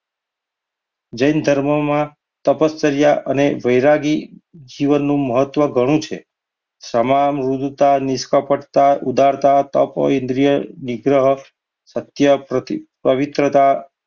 જૈન ધર્મમાં તપશ્ચર્ય અને વૈરાગી જીવનનું મહત્વ ઘણું છે. તમામ મૃદુતા, ઉદારતા, સત્ય, પવિત્રતા